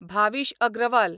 Bhavish Agarwal